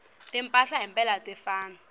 usita kwetemphilo